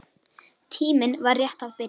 Tíminn var rétt að byrja.